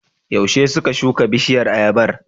Yaushe suka shuka bishiyar ayabar?